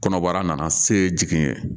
Kɔnɔbara nana se jigin